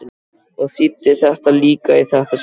Og þýddi líka í þetta sinn.